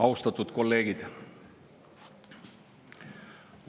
Austatud kolleegid!